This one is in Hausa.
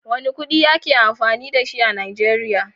Wane kudi ake amfani da shi a Najeriya?